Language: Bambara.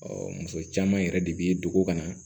muso caman yɛrɛ de bi dugu kana